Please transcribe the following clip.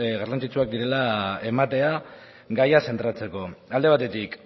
garrantzitsuak direla ematea gaia zentratzeko alde batetik